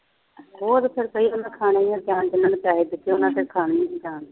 ਹੋਰ ਫੇਰ ਬਈ ਉਹਨਾ ਨੇ ਖਾਣਾ ਹੀ ਆ ਜਾਨ ਜਿੰਨਾ ਨੇ ਪੈਸੇ ਦਿੱਤੇ ਉਹਨਾ ਨੇ ਤਾਂ ਖਾਣੀ ਸੀ ਜਾਨ